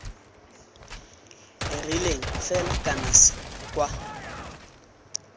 rileng fela kana c kwa